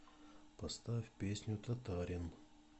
поставь песню татарин